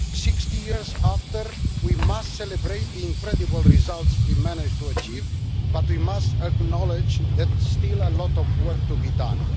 Sixty years later, we must celebrate the incredible results we have managed to achieve, but we must knowledge that there is still a lot of work to be done.